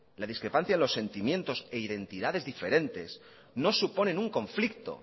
la discrepancia en los sentimientos e identidades diferentes no suponen un conflicto